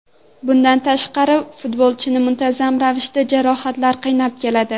Bundan tashqari futbolchini muntazam ravishda jarohatlar qiynab keladi.